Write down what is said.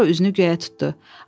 Sonra üzünü göyə tutdu.